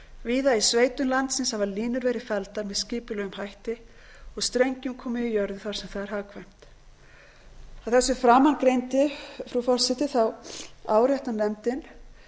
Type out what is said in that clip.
víða í sveitum landsins hafa línur verið felldar með skipulegum hætti og strengjum komið í jörðu þar sem það er hagkvæmt að þessi framangreindu frú forseti áréttar nefndin